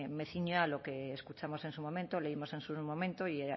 me ciño a lo que escuchamos en su momento o leímos en su momento y